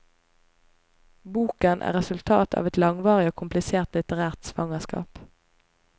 Boken er resultat av et langvarig og komplisert litterært svangerskap.